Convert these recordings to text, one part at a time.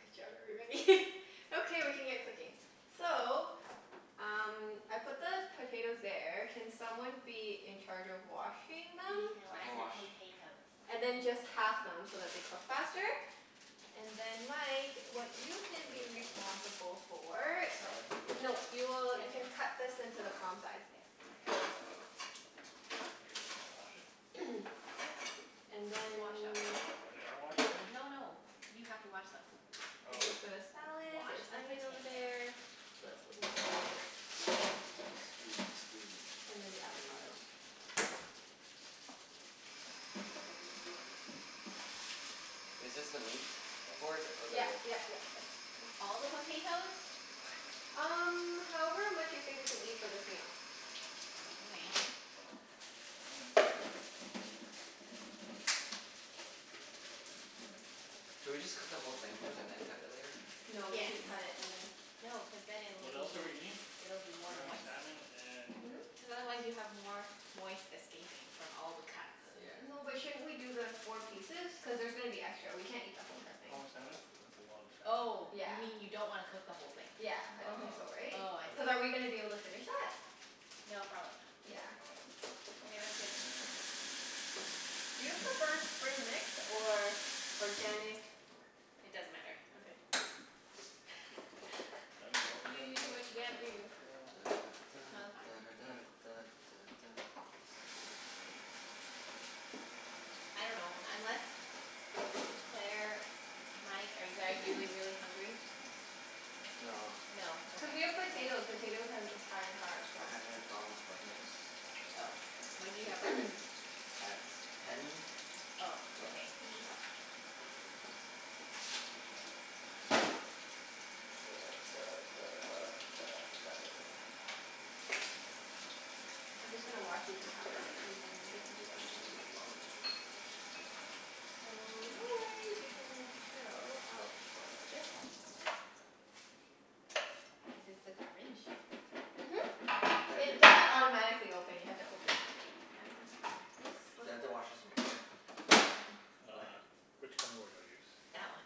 Good job everybody. Okay, we can get cooking. So um I put the potatoes there. Can someone be in charge of washing them? He can I wash can the wash. potatoes. And then just half them so that they cook faster. And then Mike, what you can Do we have be a bowl? responsible for The What? salad? Is there a No, bowl? Oh. you will, Yeah, you there. can cut this into the palm size. There. Oh. I guess we wanna wash it? Are they? What? And It's washed then already. Oh they are washed already? No no, you have to wash them. Oh. This is for the salad. Wash There's the onion over potatoes. there. What else goes in the salad? Scusi, scusi. And then the 'Scuse. avocado. Is this the meat board? Or the Yep wood? yep yep, that's a good one. All the potatoes? Um however much you think we can eat for this meal. All right. Should we just cook the whole thing first and then cut it later? No, you Yes. should cut it and then No, cuz then it'll What else are we be, eating? it'll be more We're having moist. salmon and Hmm? Cuz otherwise you have more moist escaping from all the cuts. Yeah. No but shouldn't we do the four pieces? Cuz there's gonna be extra. We can't eat the whole entire thing. How much salmon? That's a lot of Oh, salmon. you Yeah. mean you don't wanna cook the whole thing? Yeah, I Oh, don't think so oh okay. right? Oh, I see. Cuz are we going Okay. to be able to finish that? No, probably not. Yeah. Probably Okay, that's good. not. Do you prefer spring mix or organic It doesn't matter. Okay. Do I need more potatoes You than do this? what you gotta do. Da da No, they're da fine. da Okay. da da da da. I dunno, unless, Claire, Mike, are you guys really really hungry? No. No. Cuz Okay. we have potato. Potatoes has high in carbs, so. I had a McDonald's Yeah. breakfast. Oh. When did you have breakfast? At ten. Oh, Yeah. okay. Duh duh duh duh duh duh duh duh. I'm just gonna wash these and half them and then gonna do onions as well. So no worries, you can chill out for a little bit. Is this the garbage? Mhm. It doesn't automatically open, you have to open it. I know it's, yes? Do What's I have up? to wash this in water? No, it's fine. What? Which cutting board do I use? That That one. one?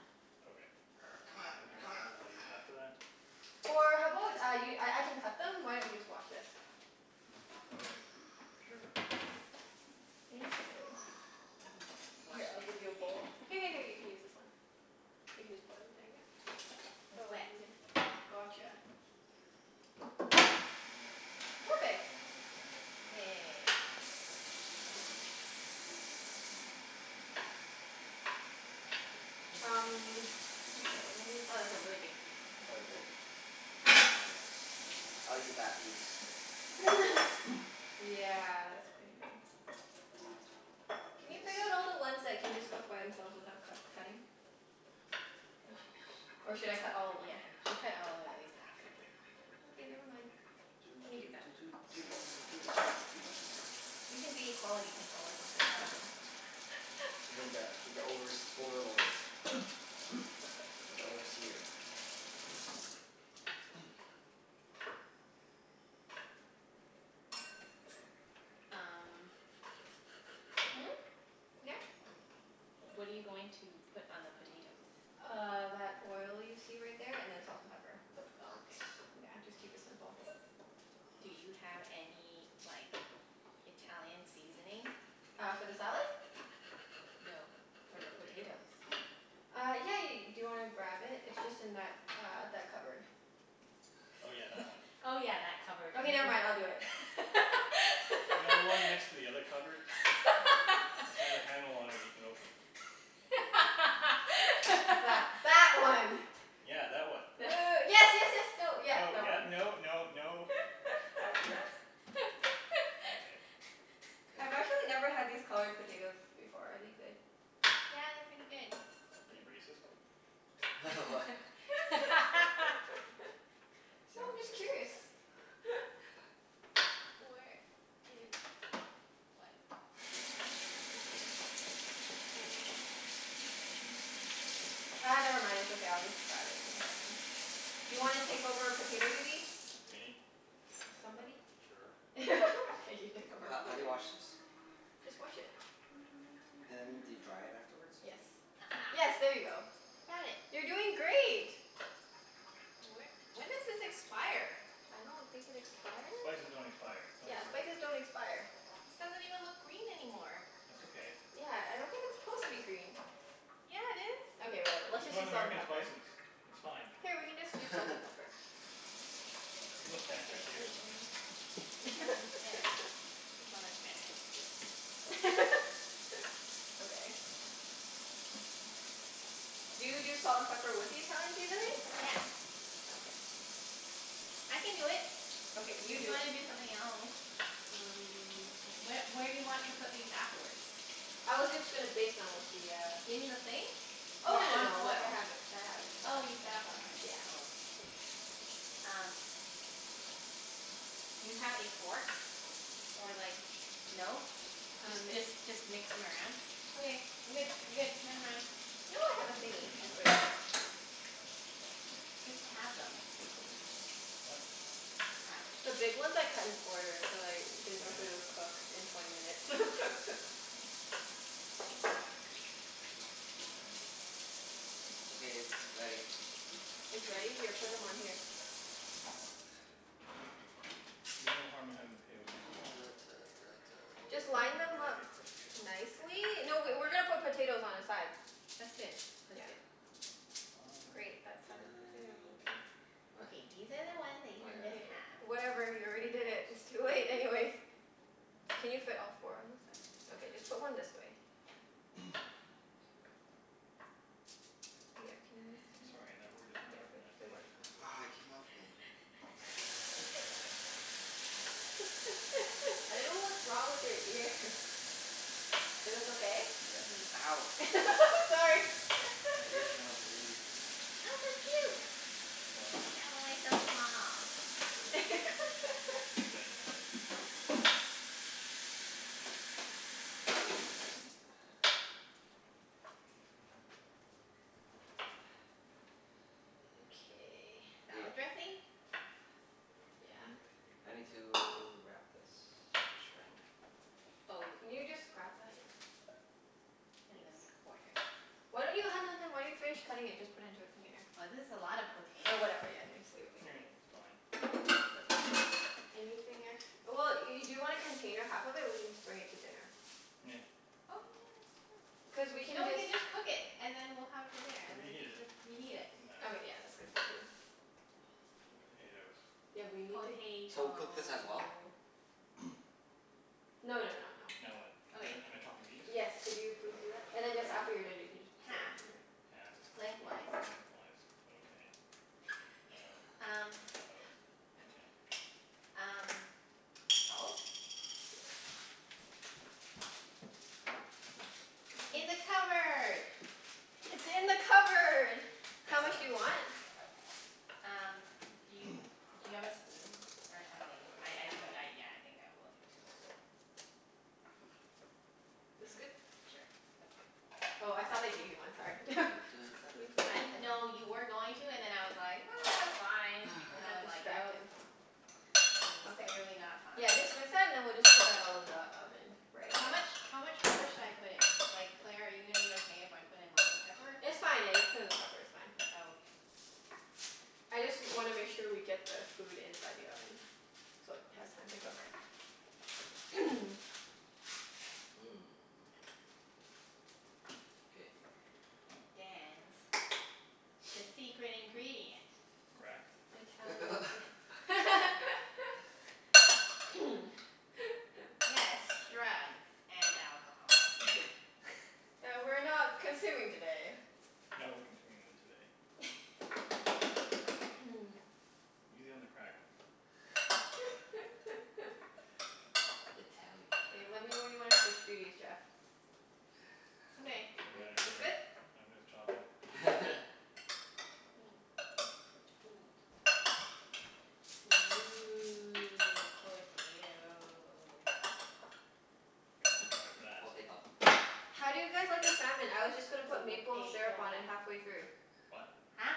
Okay. C'mon, c'mon I use after that? Or how about I y- I I can cut them? Why don't you just wash this? Okay. Sure. Thank you. Mhm. Wash Here it I'll in the give you a container. bowl. Here here here you can use this one. You can just pour them in there, yep. It's Oh let wet. me get. Gotcha. Perfect. Yay. Um okay, let me Oh, get a that's a really big piece. Oh, is it? I'll cut smaller ones. I'll eat that piece. Yeah, that's pretty big. Can you Is pick out this all the ones that can just cook by themselves without cut cutting? Or should I cut all of them? Yeah, you should cut all of them at least half. Okay, never mind. Doo Let me do doo that. doo doo doo doo doo doo doo. You can be quality control or something. I dunno. You need that, be the overs- overlord. Like the overseer. Um Hmm? Yeah? What are you going to put on the potatoes? Uh that oil you see right there and then salt and pepper. The Oh, potats. okay. Yeah, just keep it simple. Do you have any like Italian seasoning? Uh for the salad? No. For For the the potato. potatoes. Uh yeah yeah ye- . Do you want to grab it? It's just in that uh that cupboard. Oh yeah, that one. Oh yeah, that cupboard. Okay never Mhm. mind, I'll do it. You know the one next to the other cupboard? It's got a handle on it that you can open. That that one. Yeah, that one. Uh yes yes yes, no, yep, No, that yep, one. no no no. Okay. K. I've actually never had these colored potatoes before. Are they good? Yeah, they're pretty good. Are you racist? What? So I'm Sounds just curious. racist. Where is, what? Ah never mind. It's okay. I'll just grab it in a second. Do you want to take over potato duty? Me? Somebody? Sure. Okay, you take over Ho- how do you potato. wash this? Just wash it. And do you dry it afterwards? Yes. Yes, Aha. there you go. I found it. You're doing great. Wh- when does this expire? I don't think it expires. Spices don't expire. Don't be Yeah, silly. spices don't expire. This doesn't even look green anymore. That's okay. Yeah, I don't think it's supposed to be green. Yeah, it is. Okay whatever. Let's It's just North use salt and American pepper. spices. It's fine. Here, we can just use salt and pepper. There's no It's standards okay. here. Wait and this one looks better. This one looks better. Okay. Do you do salt and pepper with the Italian seasoning? Yeah. Okay. I can do it. Okay, If you you do it. wanna do something else? Um Wh- where do you want to put these afterwards? I was just going to bake them with the uh In the thing? Oh Or no no on no, like I foil? have it, I have it set Oh up. you set up already? Oh okay. Um okay. Do you have a fork, or like, no? Just Um just just mix them around? Okay, I'm good, I'm good. Never mind. No I have a thingie. You're in my Just wait. way. Just halve them. What? Halve. The big ones I cut in quarters, cuz I didn't know if they would Okay. cook in twenty minutes. Okay, it's ready. It's ready? Here, put them on here. There's no harm in having the potatoes too small. Just line them They'll just up get crispier. nicely. Okay. No, we we're going to put potatoes on the side. That's good. That's Yeah. good. Fine Great. That Fine. side fine. of What? Okay, these are the ones that you Oh Yep, can yeah. yeah just yeah. halve. Whatever, you already Okay did it. It's boss. too late anyways. Can you fit all four on this side? Okay, just put one this way. Yeah, can you move this I'm one? sorry, that word is not Yeah, good, recognized by good the work. English language. Aw it came off again. Please try again. I don't know what's wrong with your ears. Is this okay? Yeah. Ow. Sorry. My ear's gonna bleed. What? I killed it. It's dead now. Okay. Hey, Salad dressing? Yeah. Hmm? I need to wrap this in saran wrap. Oh y- Can you just grab that? Yeah. And Thanks. then quarter. Why don't you, hun hun hun. Why don't you finish cutting it and just put into a container? This is a lot of potato. Or whatever, yeah just leave it leave it leave It's it. fine. It's okay. Anything ex- well, y- do you want to container half of it? We can just bring it to dinner. Nah. Oh yeah, that's true. Cuz we No, can we just can just cook it and then we'll have it for dinner We'll and reheat we it. can reheat it. Doesn't matter. Okay yeah, that's good point too. The potatoes. Yeah, we need to So cook this as well? Potato. No no no no. Now what? Am Okay. I am I chopping these? Yes, could you please do that? And then just, after you're done you can just set them Half. on here. Halfed. Lengthwise. Lengthwise. Okay. uh-oh Um uh-oh. Okay. Um salt? Yes. In the cupboard. It's in the cupboard. How That much one. do you want? Um, do you, do you have a spoon or something? I I do, yeah, I think I will need to mix it. This good? Sure, that's good. Oh I thought I gave you one. Sorry. Da da da da No, da you were da going to and da then I was like, ah it's fine. And I then I got was like, no. distracted. This is Okay. clearly not fine. Yeah, just and then we'll just put that all in the oven right How away. much, how much pepper should I put in? Like Claire, are you gonna be okay if I put in lots of pepper? It's fine, yeah, just put in the pepper, it's fine. Oh okay. I just wanna make sure we get the food inside the oven so it has time to cook. Mmm, K. And dance, the secret ingredient. Crack? Italian sea- Yes, drugs and alcohol. That we're not consuming today. No, we're consuming them today. Easy on the crack. Italian K, let me know when crack. you want to switch duties Jeff. Okay. Doesn't matter to It's me. good? I'm just chopping. Ooh, potato. that. Potato. How do you guys like the salmon? I was just gonna put maple syrup on it Potato. halfway through. What? Huh?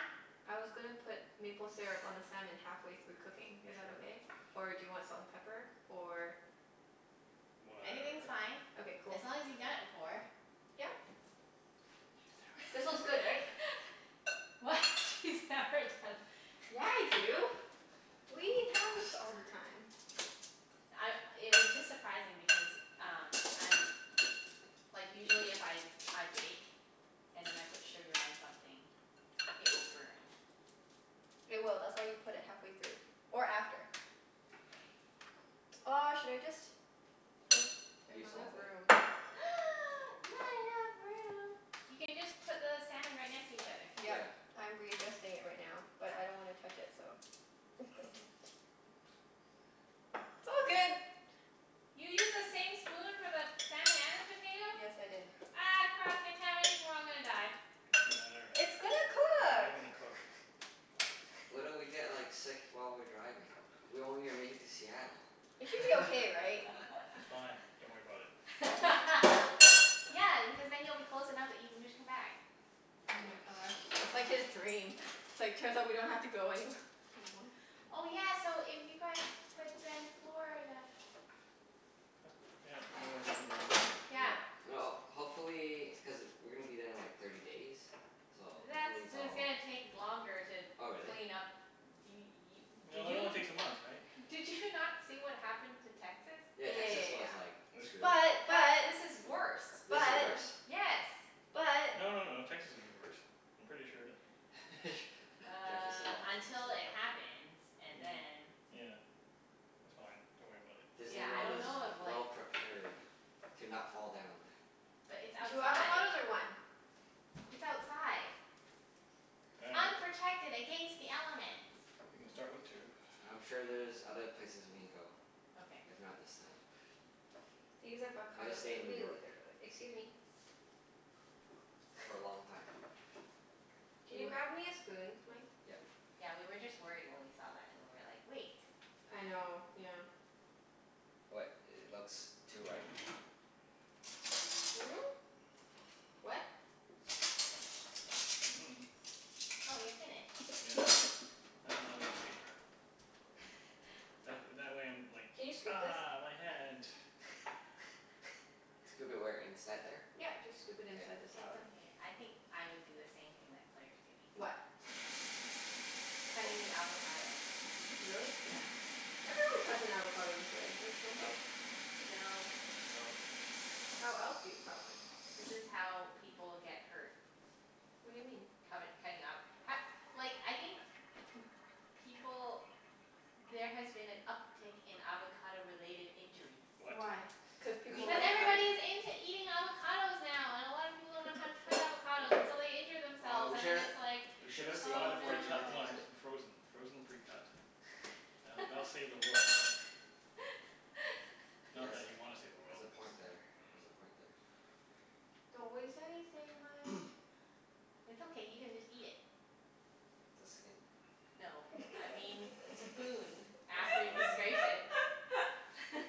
I was gonna put maple syrup on the salmon halfway through cooking. Is that Sure. okay? Or do you want salt and pepper? Or Anything's Whatever. fine, Okay, cool. as long as you've done it before. Yep. She's This never one's done good right? it before. What? She's never done? Yeah I do. We eat Don't cross halibut all her. the time. I, it was just surprising because um, I'm, like usually if I I bake and then I put sugar on something, it will burn. It will. That's why you put it halfway through or Okay. after. Okay. Oh should I just, What? there's Use not enough all of it? room. Not enough room? You can just put the salmon right next to each other. Yep. Yeah. I'm readjusting it right now, but I don't want to touch it, so. Oops. It's all good. You used the same spoon for the salmon and the potato? Yes, I did. Ah cross contamination. We're all gonna die. It doesn't matter. It's gonna It's cook. all gonna cook. What if we get like sick while we're driving? We won't even make it to Seattle. It should be okay right? It's fine. Don't worry about it. Yeah, because then you'll be close enough that you can just come back. Oh my Yes. gosh. That's like his dream. It's like, turns out we don't have to go anywh- anymore. Oh yeah, so if you guys, but then Florida. Yep. No more Disney World. Yeah. Yeah, well hopefully. Cuz we're going to be there in like thirty days, so That's, hopefully it's it's all gonna take longer to Oh really? clean up. D- y- did No, it you only takes a month right? did you not see what happened to Texas? Yeah, Texas Yeah was like They're yeah screwed. screwed. yeah This is yeah. worse. This is But. worse? But. Yes. But. No no no. But. Texas is the worst. I'm pretty sure that Jeff is so Uh until it optimistic. happens and then Yeah. It's fine. Don't worry about it. Disney Yeah, I World don't is know if like well prepared to not fall down. But it's Two outside. avocados or one? It's outside. Unprotected against the elements. We can start with two. I'm sure there's other places we can go, Okay. if not this time. These I'll just avocados stay are in New really York good by the, excuse me. for a long time. Can Do you you grab me a spoon Mike? Yep. Yeah, we were just worried when we saw that and we were like, wait. I know. Yeah. What? It looks too ripe? Hmm? What? Oh you're finished. Yeah. I think my way's safer. That wh- that way I'm like, Can you scoop this? ah, my hand. Scoop it where? Inside there? Yep. Just scoop it K. inside the It's salad. okay. I think I would do the same thing that Claire's doing. What? Cutting the avocado. Really? Yeah. Everyone cuts an avocado this way, don't don't they? Nope. No. Nope. How else do you cut one? This is how people get hurt. What do you mean? Cutt- cutting up h- like I think people, there has been an uptake in avocado related injuries. What? Why? Cuz Cuz people if Because like we're cutting everybody's into eating avocados now and a lot of people don't know how to cut avocados and so they injure Oh themselves, we and then should, it's like, We we should should have have just saved one bought a oh no. for Junette precut to one cut it. in frozen. Frozen precut. That'll that'll save the world, right? Not that you want to save the Has world, a cuz point there. Has a point there. Don't waste anything Mike. It's okay, you can just eat it. The skin? No. I mean the spoon after you scrape Oh. it.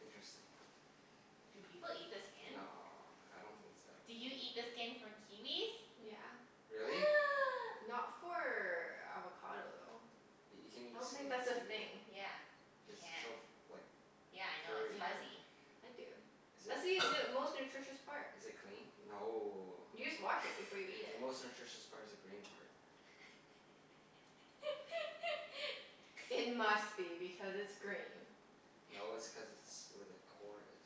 Interesting. Do people eat the skin? No, I don't think it's Do you edible. eat the skin for kiwis? Yeah. Really? Not for avocado though. You can eat I don't skin think that's of a a thing. kiwi? Yeah, you It's so can. f- like Yeah I know, it's furry Yeah. though. fuzzy. I do. Is That's it, the most nutritious part. is it clean? No. You just wash it before you eat The it. most nutritious part is the green part. It must be because it's green. No, it's cuz it's where the core is.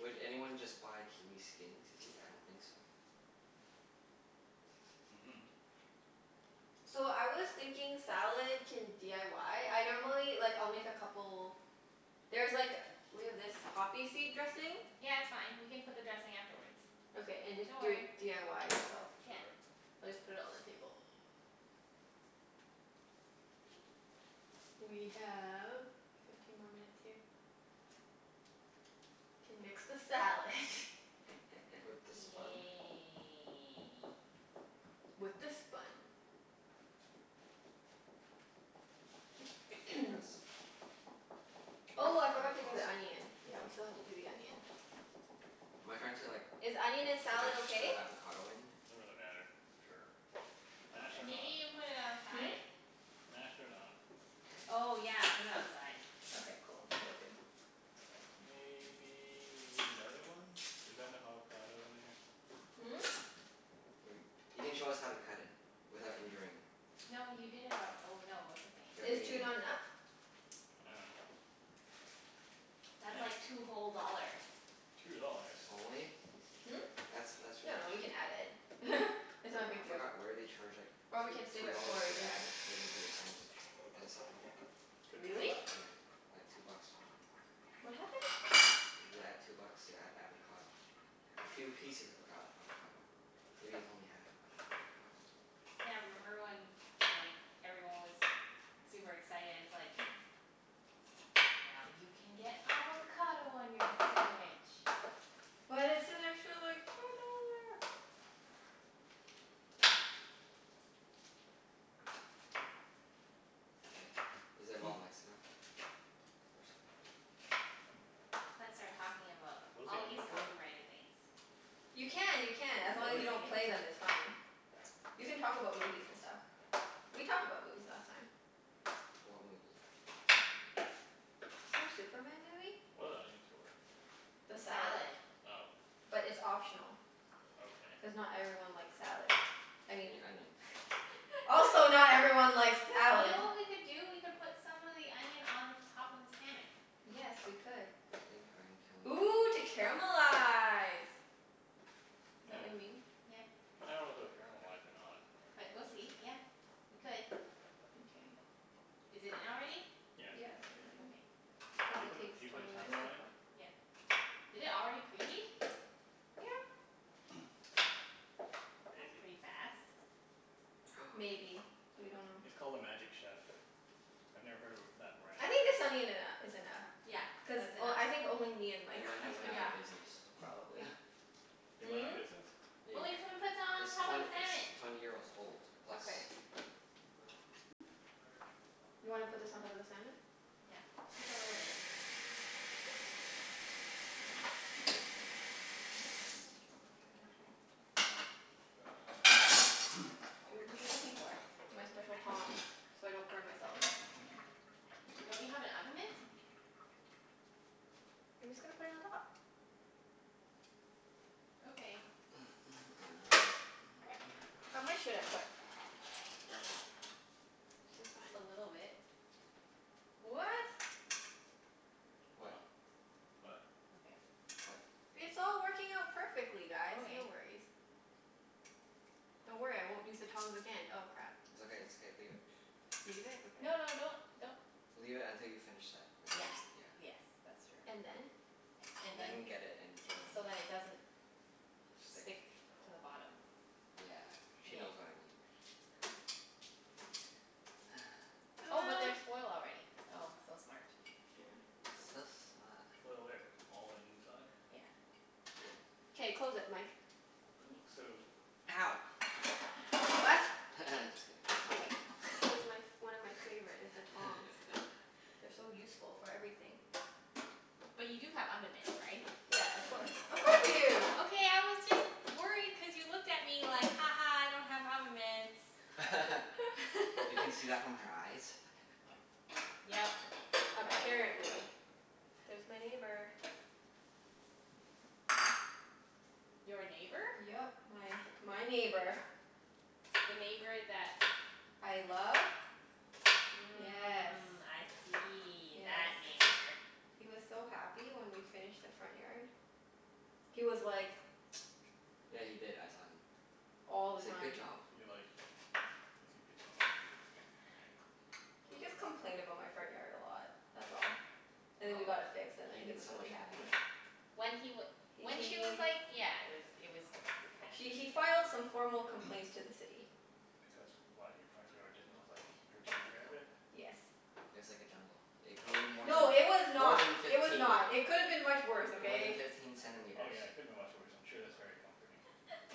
Okay okay. anyone just buy kiwi skin to eat? I don't think so. Mhm. So I was thinking salad can d i y? I normally, like I'll make a couple. There's like, we have this poppy seed dressing? Yeah, it's fine. We can put the dressing afterwards. Okay and just Don't do it worry. d i y yourself. Sure. We'll just put it on the table. We have fifteen more minutes here. Can mix the salad. With the spun? Yay. With the spun. Like this? Oh I forgot to do toss it? the onion. Yeah, we still have to do the onion. Am I trying to like Is onion in salad mash the okay? avocado in? Doesn't really matter. Sure. Mashed or Okay. Maybe not. you can put it on the Hmm? side? Mashed or not. Okay. Oh yeah, put it on the side. Okay, cool. Will do. Maybe you need another one? Is that enough avocado in there? Hmm? Wait. You can show us how to cut it without injuring. No you did it al- oh no, it's okay. Is two not enough? I dunno. That's like two whole dollars. Two dollars? Only? Hmm? That's, that's really No, we can cheap. add it. It's not For- a I big deal. forgot where they charge like Or we two can save two it for dollars our to dinner. add it into your sandwich. Is it Subway? Could be. Really? Yeah. Like two bucks or something. What happened? You add two bucks to add avocado. A few pieces of avocad- avocado. Maybe it's only half of an avocado. Yeah, remember when like everyone was super excited and it's like, now you can get avocado on your sandwich. But it's an extra like four dollar. K, is it well mixed enough? Or s- Let's start talking about What is the all these onion for? copyrighted things. You Just can, kidding. you can. As What long are as you the don't onions play them for? it's fine. You can talk about movies and stuff. We talked about movies last time. What movie? Some Superman movie. What are the onions for? The The salad. salad. Oh. But it's optional. Okay. Cuz not everyone likes salad. I You mean. mean onion. Also You not everyone likes salad. know what we could do? We could put some of the onion on the top of the salmon. Yes, we could. I think I'm killing Ooh to this. caramelize. Is that what you mean? Yeah. I don't know if it will caramelize or not. But we'll see. Yeah, we could. Mkay. Is it in already? Yeah, it's Yeah, in it's in already. already. Okay. Cuz Do you it put, takes do you put a twenty minutes timer to on it? cook. Yeah. Did it already preheat? Yeah. That's Maybe. pretty fast. Maybe. We don't know. It's called a Magic Chef. I've never heard of a that brand. I think the salmon eno- is enough Yeah, cuz that's enough. o- I think only me and They Mike might like have went it out Yeah. of business. probably. They went out Hmm? of business? There you But go. we can put some It's on top of twent- the its salmon. twenty years old plus. Okay. You wanna put this on top of the salmon? Yeah. Just a little bit. What are you Oops. looking for? My special tongs, so I don't burn myself. Don't you have an oven mitt? I'm just going to put it on top. Okay. How much should I put? Careful. It's fine. A little bit. What? What? Oh? What? Okay. What? It's all working out perfectly guys. No Okay. worries. Don't worry, I won't use the tongs again. Oh crap. It's okay, it's okay. Leave it. Leave it? Okay. No no, don't, don't. Leave it until you finish that and Yeah. then. Yeah. Yes, that's true. And then? And And then. then get it and throw it in the So that it doesn't Stick. stick to the bottom. Yeah. She knows what I mean. Oh but there's foil already. Oh, so smart. So smart. Foil where? All the inside? Yeah. Good. K, close it Mike. But it looks so, Ow. I dunno. What? Just kidding. This is my f- one of my favorite, is the tongs. They're so useful for everything. But you do have oven mitts, right? Yeah, of course. Of course we do. Okay I was just worried cuz you looked at me like, ha ha I don't have oven mitts. You can see that from her eyes? Yep. Apparently. There's my neighbor. Your neighbor? Yep. My my neighbor. The neighbor that I love? Yes. Mm, I see. That Yes. That. neighbor. He was so happy when we finished the front yard. He was like Yeah, he did. I saw him. All He the said, "Good time. job." Is he like, is he bitchy? He just complained about my front yard a lot, that's all. And then we Oh, got it fixed and he then he did was so really much more. happy. When he w- H- when he was he like yeah. It was, it was kind of he he ridiculous. filed some formal Because, complaints to the City. why? Your front yard didn't look like you were taking care of it? Yes. It was like a jungle. It grew more than, No, it was more not. than It was fifteen, not. It could have been much worse, more than okay? fifteen Oh centimeters. yeah, it could have been much worse. I'm sure that's very comforting.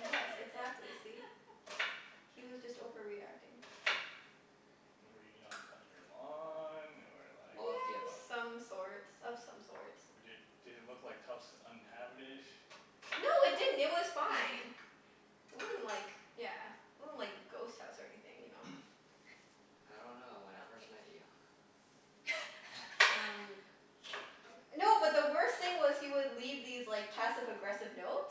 Yes, exactly. See? He was just overreacting. Were you not cutting your lawn or like All of the above. Some sorts. Of some sorts. Or did, did it look like house was uninhabited? No it didn't. It was fine. It wasn't like, yeah, it wasn't like a ghost house or anything, you know? I don't know. When I first met you. Okay. Um. No, but the worst thing was, he would leave these like passive aggressive notes.